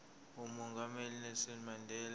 umongameli unelson mandela